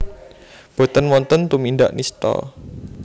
Boten wonten tumindak nistha